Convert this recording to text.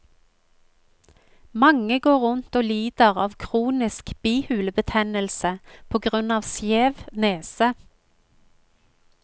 Mange går rundt og lider av kronisk bihulebetennelse på grunn av skjev nese.